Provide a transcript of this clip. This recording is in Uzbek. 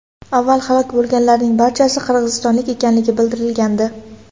Avval halok bo‘lganlarning barchasi qirg‘izistonlik ekanligi bildirilgandi .